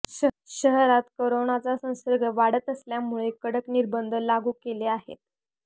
शहरात करोनाचा संसर्ग वाढत असल्यामुळे कडक निर्बंध लागू केले आहेत